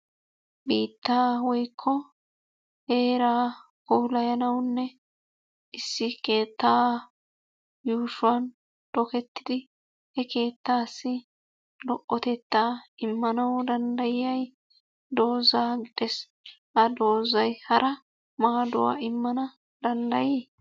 Biitta woykko heeraa puulayanawunne issi keettaa yuushshuwan tokketidi he keettassi lo"otette immanawu danddayiyay dooza gidees Ha doozay hara maaduwa immana dandday?